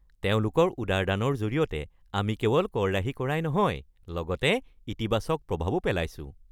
তেওঁলোকৰ উদাৰ দানৰ জৰিয়তে আমি কেৱল কৰ ৰাহি কৰাই নহয় লগতে ইতিবাচক প্ৰভাৱো পেলাইছো!